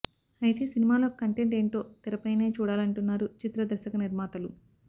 అయితే సినిమాలో కంటెంట్ ఏంటో తెరపైనే చూడాలంటున్నారు చిత్ర దర్శక నిర్మాతలు